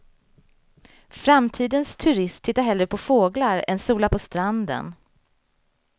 Framtidens turist tittar hellre på fåglar än solar på stranden.